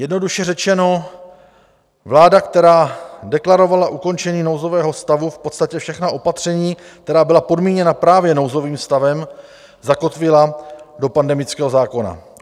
Jednoduše řečeno, vláda, která deklarovala ukončení nouzového stavu, v podstatě všechna opatření, která byla podmíněna právě nouzovým stavem, zakotvila do pandemického zákona.